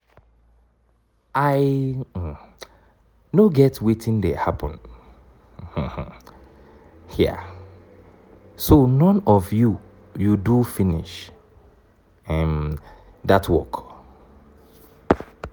i um no get wetin dey happen um here. so none of you you do finish um dat work?